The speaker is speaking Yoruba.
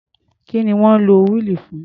Kí ni wọ́n ń lo wíìlì fún?